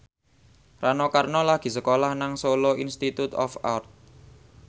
Rano Karno lagi sekolah nang Solo Institute of Art